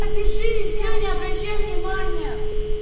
напиши и все не обращай внимания